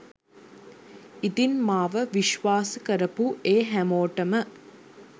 ඉතින් මාව විශ්වාස කරපු ඒ හැමෝටම